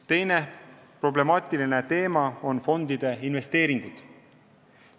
Teine problemaatiline teema on fondide investeeringud.